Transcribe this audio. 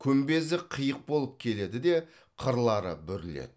күмбезі қиық болып келеді де қырлары бүріледі